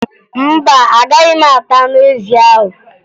Mba, Agaghị m ata anụ ezi ahụ